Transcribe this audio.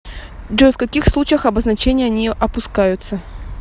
джой в каких случаях обозначения не опускаются